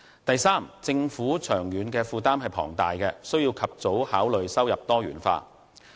第三，政府長遠財政負擔龐大，必須及早考慮收入多元化。